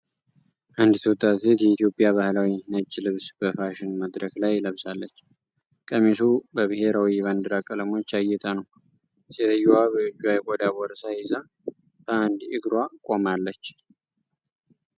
አንዲት ወጣት ሴት የኢትዮጵያ ባህላዊ ነጭ ልብስ በፋሽን መድረክ ላይ ለብሳለች። ቀሚሱ በብሔራዊ ባንዲራ ቀለሞች ያጌጠ ነው። ሴትየዋ በእጇ የቆዳ ቦርሳ ይዛ በአንድ እግሯ ቆማለች።